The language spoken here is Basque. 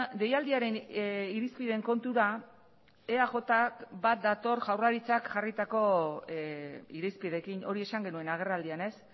deialdiaren irizpideen kontura eajk bat dator jaurlaritzak jarritako irizpideekin hori esan genuen agerraldian ez